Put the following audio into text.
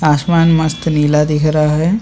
आसमान मस्त नीला दिख रहा है।